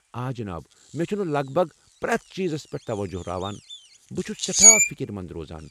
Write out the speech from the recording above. آ جناب، مےٚ چھُنہٕ لگ بھگ پریتھ چیزس پیٹھ توجہہ راوان ، بہٕ چھٗس سٮ۪ٹھاہ فکر منٛد روزان۔